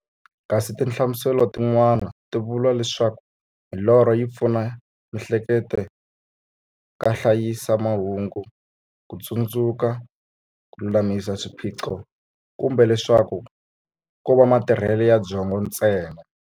Kasi tinhlamuselo ti n'wana ti vula leswaku milorho yi pfuna mi'hleketo ka hlayisa mahungu, kutsundzuka, kululamisa swiphiqo, kumbe leswaku kova matirhele ya byongo ntsena.